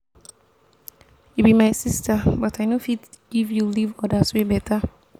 you be my sister but i no fit give you leave others wey beta.